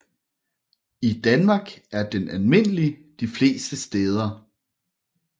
I Danmark er den almindelig de fleste steder